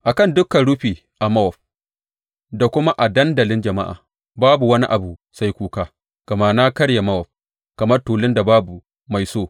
A kan dukan rufi a Mowab da kuma a dandalin jama’a babu wani abu sai kuka gama na karye Mowab kamar tulun da babu mai so,